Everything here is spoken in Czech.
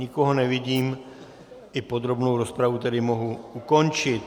Nikoho nevidím, i podrobnou rozpravu tedy mohu ukončit.